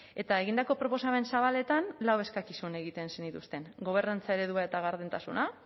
eta egindako proposamen zabaletan lau eskakizun egiten zenituzten gobernantza eredua eta gardentasuna